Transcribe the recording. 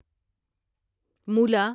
مولا